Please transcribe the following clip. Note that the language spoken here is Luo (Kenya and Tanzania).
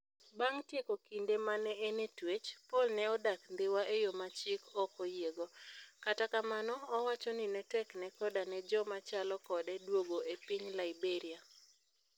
Bang ' tieko kinde ma ne en e twech, Paul ne odak Dhiwa e yo ma chik ok oyiego - kata kamano, owacho ni ne tekne koda ne joma chalo kode duogo e piny Liberia.